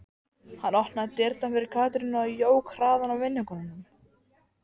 Hann opnaði dyrnar fyrir Katrínu og jók hraðann á vinnukonunum.